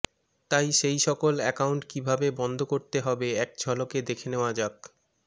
তাই সেই সকল অ্যাকাউন্ট কিভাবে বন্ধ করতে হবে এক ঝলকে দেখে নেওয়া যাক